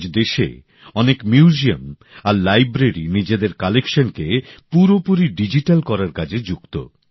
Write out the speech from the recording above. আজ দেশে অনেক সংগ্রহশালা আর গ্রন্থাগার নিজেদের সংগ্রহকে পুরোপুরি ডিজিটাল করার কাজে যুক্ত